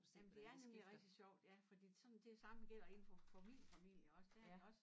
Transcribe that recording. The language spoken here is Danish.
Jamen det er nemlig rigtig sjovt ja fordi sådan det samme gælder inden for min familie også der er det også